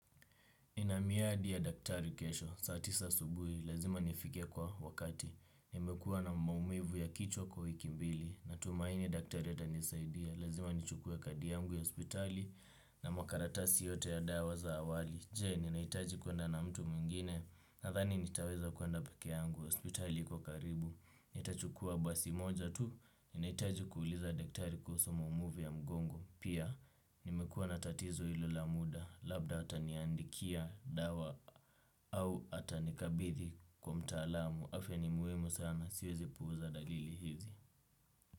Nina miadi ya daktari kesho saa tisa asubuhi, lazima nifike kwa wakati nimekuwa na maumivu ya kichwa kwa wiki mbili natumaini daktari atanisaidia lazima nichukue kadi yangu ya hospitali na makaratasi yote ya dawa za awali je, ninahitaji kwenda na mtu mwingine nadhani nitaweza kwenda peke yangu hospitali iko karibu. Nitachukua basi moja tu, ninahitaji kuuliza daktari kuhusu maumivu ya mgongo pia, nimekuwa na tatizo ilo la muda labda ataniandikia dawa au atanikabidhi kwa mtaalamu afya ni muhimu sana siwezi puuza dalili hizi.